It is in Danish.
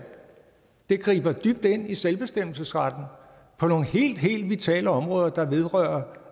griber dybt ind i selvbestemmelsesretten på nogle helt helt vitale områder der vedrører